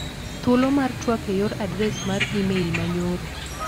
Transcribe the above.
Thuolo mar tuak e yor adres mar imel ma nyoro.